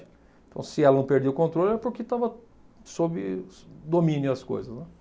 Então, se ela não perdia o controle, era porque estava sob domínio as coisas, né?